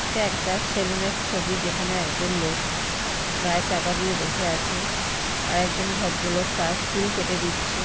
এটা একটা সেলুন এর ছবি যেখানে একজন লোক গায়ে চাপা দিয়ে বসে আছে আর একজন ভদ্রলোক তার চুল কেটে দিচ্ছে।